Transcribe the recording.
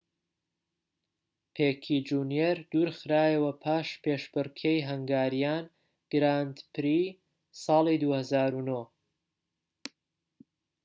پیکێ جونیەر دوور خرایەوە پاش پێشبڕكێی هەنگاریان گراند پری-ساڵی ٢٠٠٩